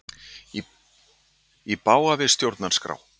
Í bága við stjórnarskrá